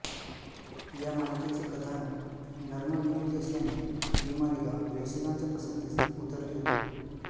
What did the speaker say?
या मालिकेचे कथानक नर्मविनोदी असल्याने ही मालिका प्रेक्षकांच्या पसंतीस उतरली होती